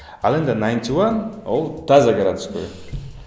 ал енді найнти уан ол таза городской